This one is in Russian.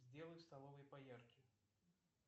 сделай в столовой поярче